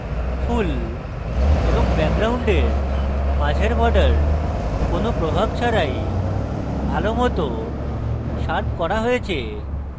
ফুল এবং ব্যাকগ্রাউন্ডের মাঝের border কোনো প্রভাব ছাড়াই ভালোমত শার্প করা হয়েছে